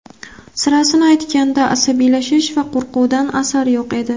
Sirasini aytganda, asabiylashish va qo‘rquvdan asar yo‘q edi.